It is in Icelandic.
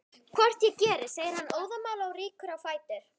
Hvort ég geri, segir hann óðamála og rýkur á fætur.